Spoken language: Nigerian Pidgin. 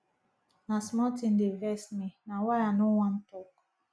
na small tin dey vex me na why i no wan tok